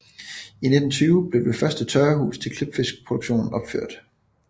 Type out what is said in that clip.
I 1920 blev det første tørrehus til klipfiskeproduktion opført